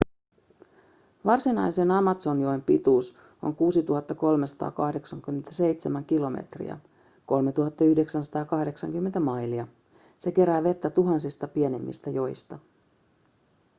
varsinaisen amazonjoen pituus on 6 387 km 3 980 mailia. se kerää vettä tuhansista pienemmistä joista